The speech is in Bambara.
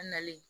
An nalen